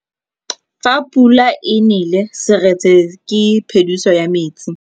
Fa pula e nelê serêtsê ke phêdisô ya metsi.